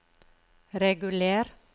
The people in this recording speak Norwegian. reguler